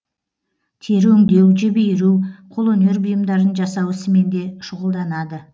тері өңдеу жіп иіру қолөнер бұйымдарын жасау ісімен де шұғылданады